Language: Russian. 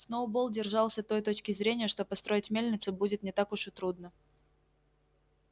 сноуболл держался той точки зрения что построить мельницу будет не так уж и трудно